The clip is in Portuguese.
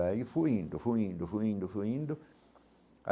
Aí, fui indo, fui indo, fui indo fui indo